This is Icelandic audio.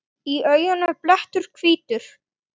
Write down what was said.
Í auganu blettur hvítur.